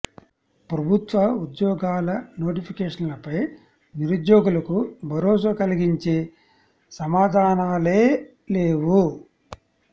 ప్రభుత్వ ఉద్యోగాల నోటిఫికేషన్లపై నిరుద్యోగులకు భరోసా కలిగించే సమా ధానాలే లేవు